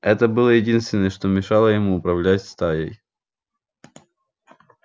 это было единственное что мешало ему управлять стаей